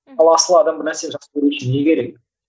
ал асылы адам бір нәрсе жақсы көру үшін не керек